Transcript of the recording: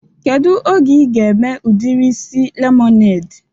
Kedu oge ị ga-eme udiri isi lemonede?